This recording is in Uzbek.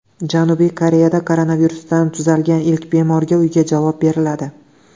Janubiy Koreyada koronavirusdan tuzalgan ilk bemorga uyga javob beriladi.